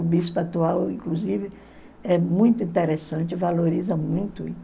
O bispo atual, inclusive, é muito interessante, valoriza muito